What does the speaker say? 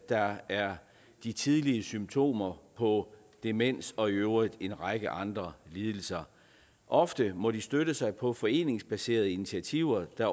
der er de tidlige symptomer på demens og i øvrigt en række andre lidelser ofte må de støtte sig på foreningsbaserede initiativer der